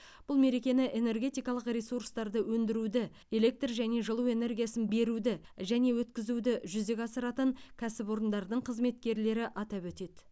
бұл мерекені энергетикалық ресурстарды өндіруді электр және жылу энергиясын беруді және өткізуді жүзеге асыратын кәсіпорындардың қызметкерлері атап өтеді